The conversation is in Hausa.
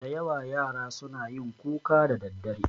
Da yawa yara suna yin kuka da daddare